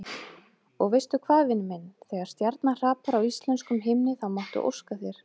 Og veistu hvað, vinur minn, þegar stjarna hrapar á íslenskum himni þá máttu óska þér.